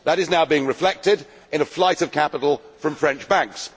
That is now being reflected in a flight of capital from French banks.